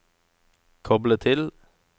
koble til